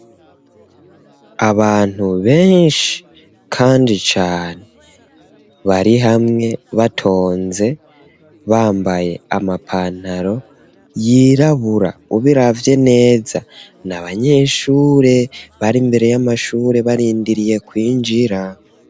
Abantu benshi, kandi cane, bari hamwe, batonze, bambaye amapantaro yirabura; ubiravye neza, ni abanyeshure, bari imbere y'amashure barindiriye kwinjira.